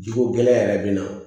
Jiko gɛlɛy yɛrɛ bɛ na